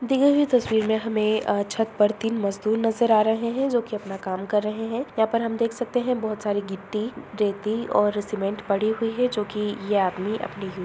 दिए हुई तस्वीर में हमें अ छत पर तीन मजदूर नजर आ रहे हैं जो के अपना काम कर रहे हैं| यहां पर हम देख सकते हैं बहोत सारी मिट्टी रेती और सीमेंट पड़ी हुई है जो की ये आदमी अपनी --